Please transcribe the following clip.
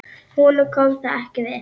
Honum kom það ekki við.